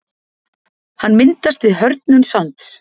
Hann myndast við hörðnun sands.